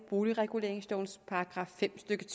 boligreguleringslovens paragraf § fem stykke